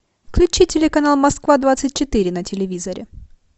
включи телеканал москва двадцать четыре на телевизоре